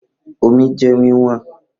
Omi jẹ wí wọn